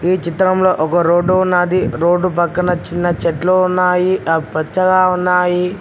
ఈ చిత్రంలో ఒక రోడ్డు ఉన్నది రోడ్డు పక్కన చిన్న చెట్లు ఉన్నాయి ఆ పచ్చగా ఉన్నాయి